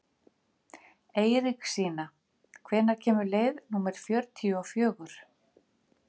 Eiríksína, hvenær kemur leið númer fjörutíu og fjögur?